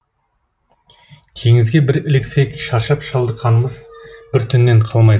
теңізге бір іліксек шаршап шалдыққанымыз бір түннен қалмайды